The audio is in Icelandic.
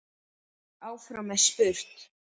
Áfram er spurt.